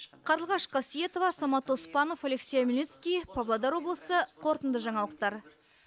қарлығаш қасиетова самат оспанов алексей омельницкий павлодар облысы қорытынды жаңалықтар